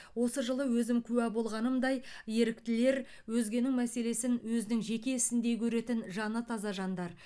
осы жылы өзім куә болғанымдай еріктілер өзгенің мәселесін өзінің жеке ісіндей көретін жаны таза жандар